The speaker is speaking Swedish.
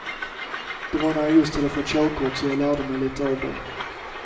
Det var när jag just hade fått körkort, så jag lärde mig lite av det.